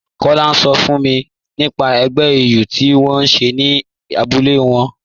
Tọla n sọ fún mi nípà ègbẹ̀ ìyù tí wọn n ṣẹ̀ ní àbúlẹ̀ wọn